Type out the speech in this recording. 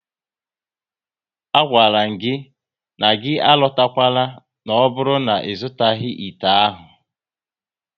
A gwara m gị na gị alotakwana n'oburu na-izutaghi ite ahụ!